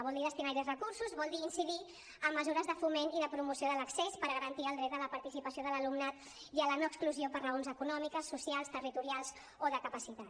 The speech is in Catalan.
vol dir destinar hi més recursos vol dir incidir en mesures de foment i de promoció de l’accés per garantir el dret a la participació de l’alumnat i a la no exclusió per raons econòmiques socials territorials o de capacitat